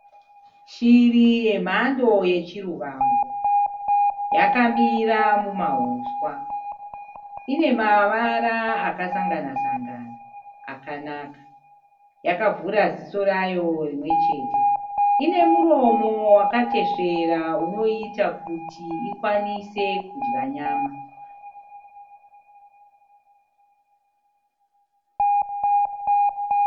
Shiri yemhando yechirivangu yakamira mumauswa. Ine mavara akasanganasangana akanaka. Yakavhura ziso rayo rimwe chete. Ine muromo wakatesvera unoiita kuti ikwanise kudya nyama.